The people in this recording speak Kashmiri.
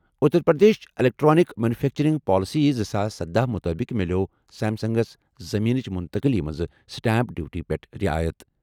Uttar Pradesh electronics manufacturing policy زٕ ساس سدہَ مُطٲبِق مِلٮ۪و سیمسنگَس زٔمیٖنٕچ منتقلی منٛز سٹیمپ ڈیوٹی پٮ۪ٹھ رِعایت۔